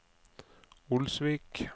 Olsvik